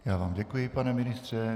Já vám děkuji, pane ministře.